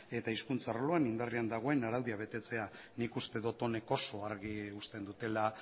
eta hizkuntza arloan indarrean dagoen araudia betetzea nik uste dut honek oso argi uzten dutela